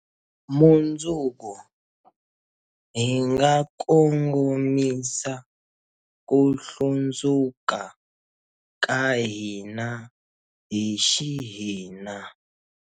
Mundzuku, hi nga kongomisa ku hlundzuka ka hina hi xihina.